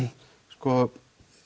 sko